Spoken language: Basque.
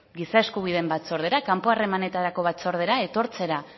giza eskubideen batzordera kanpo harremanetako batzordera